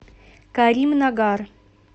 каримнагар